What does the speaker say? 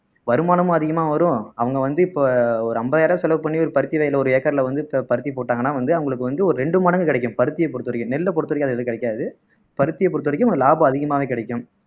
வருமானமும் அதிகமா வரும் அவங்க வந்து இப்போ ஒரு அம்பதாயிரம் ரூபாய் செலவு பண்ணி ஒரு பருத்தி விதை ஒரு ஏக்கர்ல வந்து பருத்தி போட்டாங்கன்னா வந்து அவங்களுக்கு வந்து ஒரு ரெண்டு மடங்கு கிடைக்கும் பருத்தியை பொருத்த வரைக்கும் நெல்ல பொருத்த வரைக்கும் அது ஏதும் கிடைக்காது பருத்தியை பொருத்த வரைக்கும் ஒரு லாபம் அதிகமாவே கிடைக்கும்